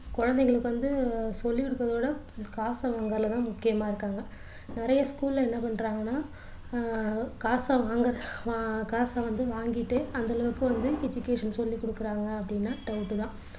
குழந்தைகளுக்கு வந்து சொல்லி கொடுப்பதை விட காசு வாங்குறதுல தான் முக்கியமா இருக்காங்க நிறைய school ல என்ன பண்றாங்கன்னா அஹ் காச வாங்க அஹ் காசு வந்து வாங்கிட்டு அந்தளவுக்கு வந்து education சொல்லிக் கொடுக்கிறாங்க அப்படின்னா doubt தான்